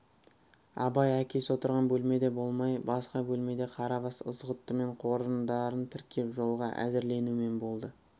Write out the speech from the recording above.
абай әкесі отырған бөлмеде болмай басқа бөлмеде қарабас ызғұттымен қоржындарын тіркеп жолға әзірленумен болды